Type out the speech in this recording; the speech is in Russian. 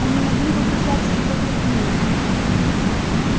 они могли бы писать и покрупнее